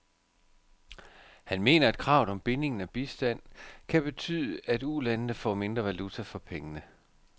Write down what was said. Han mener, at kravet om binding af bistanden kan betyde, at ulandene får mindre valuta for pengene.